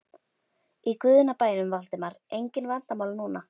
Í guðanna bænum, Valdimar, engin leyndarmál núna!